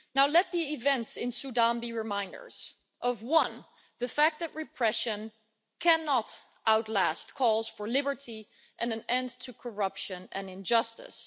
Let the events in Sudan be reminders of one, the fact that repression cannot outlast calls for liberty and an end to corruption and injustice